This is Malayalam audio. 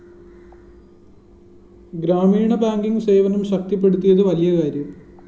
ഗ്രാമീണ ബാങ്കിങ്‌ സേവനം ശക്തിപ്പെടുത്തിയത് വലിയ കാര്യം